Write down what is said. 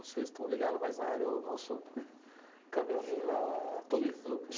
Vocês estão ligados mais na área, o nosso câmera man lá,